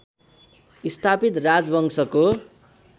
स्थापित राजवंशको